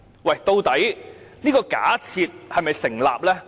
可是，這個假設是否成立呢？